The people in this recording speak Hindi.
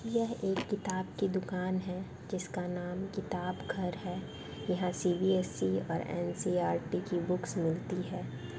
यह एक किताब की दुकान है जिसका नाम किताबघर है यहाँ सी_बी_एस_ई और एन_सी_इ_आर_टी की बुकस मिलती है।